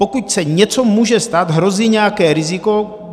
Pokud se něco může stát, hrozí nějaké riziko.